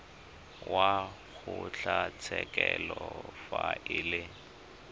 wa kgotlatshekelo fa e le